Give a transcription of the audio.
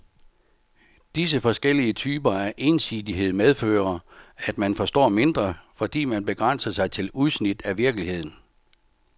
Disse forskellige typer af ensidighed medfører, at man forstår mindre, fordi man begrænser sig til udsnit af virkeligheden.